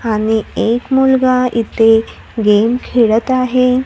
आणि एक मुलगा इथे गेम खेळत आहे.